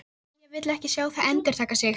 Silla vilji ekki sjá það endurtaka sig.